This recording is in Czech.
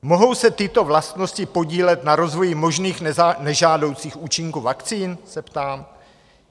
Mohou se tyto vlastnosti podílet na rozvoji možných nežádoucích účinků vakcín? se ptám.